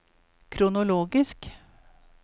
kronologisk